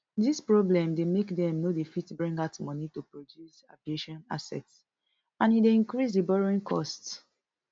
dis problem dey make dem no dey fit bring out money to produce aviation assets and e dey increase di borrowing cost